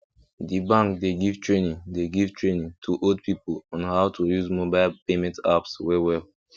the bank dey give training dey give training to old people on how to use mobile payment apps wellwell